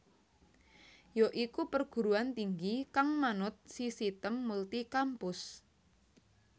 ya iku perguruan tinggi kang manut sisitem multi kampus